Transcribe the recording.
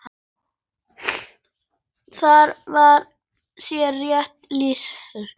Þar var þér rétt lýst!